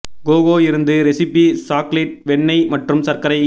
cocoa இருந்து recipe chocolate வெண்ணெய் மற்றும் சர்க்கரை